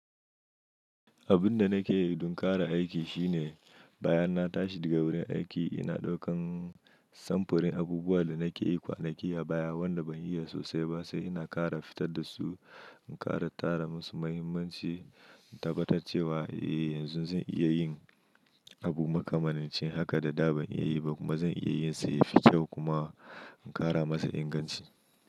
Abun da nake yi dun ƙara aiki shine bayan na tashi daga wurin aiki ina ɗaukan samfurin abubuwan da nake yi kwanaki a baya wanda ban iya sosai ba sai ina ƙara fitar da su, ƙara tara musu mahimmanci, in tabbatar cewa eh yanzu zan iya yin abu makamanin ce haka da da ban iya yi ba kuma zan iya yin sai ya fito kuma in ƙara masa inganci.